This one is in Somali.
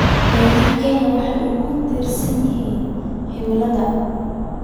Beeraha Kenya waxay aad ugu tiirsan yihiin cimilada.